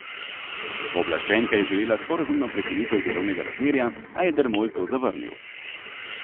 Pooblaščenka je želela sporazumno prekinitev delovnega razmerja, a je Dermol to zavrnil.